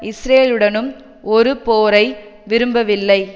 இஸ்ரேலுடனும் ஒரு போரை விரும்பவில்லை